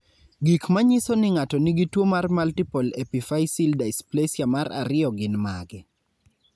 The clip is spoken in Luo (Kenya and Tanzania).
Gik manyiso ni ng'ato nigi tuwo mar multiple epiphyseal dysplasia mar ariyo gin mage?